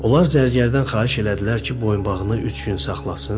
Onlar zərgərdən xahiş elədilər ki, boyunbağını üç gün saxlasın.